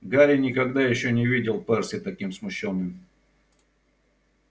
гарри никогда ещё не видел перси таким смущённым